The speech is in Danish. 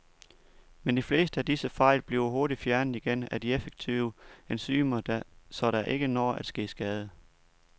Men de fleste af disse fejl bliver hurtigt fjernet igen af de effektive enzymer, så der ikke når at ske skade.